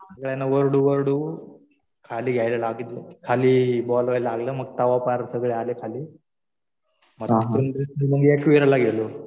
सगळ्यांना ओरडू ओरडू खाली यायला लावलं. खाली बोलवायला लागलं. मग तेव्हा पार सगळे आले खाली. मग तिकडून एकवीराला गेलो.